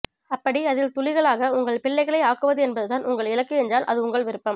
அப்படி அதில் துளிகளாக உங்கள் பிள்ளைகளை ஆக்குவதென்பதுதான் உங்கள் இலக்கு என்றால் அது உங்கள் விருப்பம்